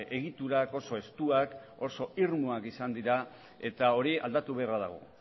egiturak oso estuak oso irmoak izan dira eta hori aldatu beharra dago